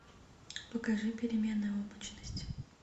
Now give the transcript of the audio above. покажи переменная облачность